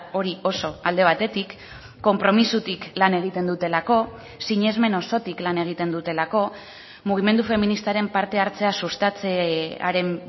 hori oso alde batetik konpromisotik lan egiten dutelako sinesmen osotik lan egiten dutelako mugimendu feministaren parte hartzea sustatzearen